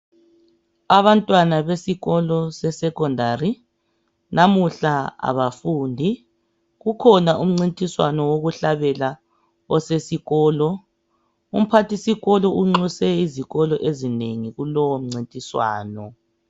abantwana besikolo se secondary namuhla abafundi kukhona umcintiswano wokuhalbela okhona esikolo umpathisikolo unxuse izikolo ezinengi kulowo mcintiswano